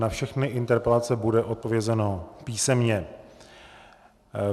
Na všechny interpelace bude odpovězeno písemně.